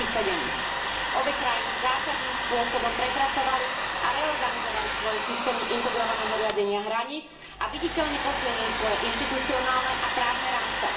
2007. Obe krajiny zásadným spôsobom prepracovali a reorganizovali svoje systémy integrovaného riadenia hraníc a viditeľne posilnili svoje inštitucionálne a právne rámce.